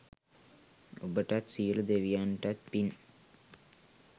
ඔබටත් සියලු දෙවියන්තත් පින්.